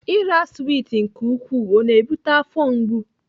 Ira swit nke ukwuu ọ na-ebute afọ mgbu?